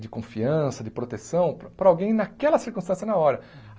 de confiança, de proteção para alguém naquela circunstância na hora.